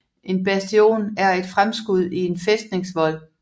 En bastion er et fremskud i en fæstningsvold